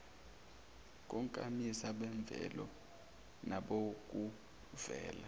konkamisa bemvelo nabokuvela